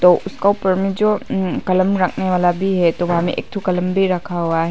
तो उसका ऊपर में जो ऊं कलम रखने वाला भी है तो वहां में एक ठो कलम भी रखा हुआ --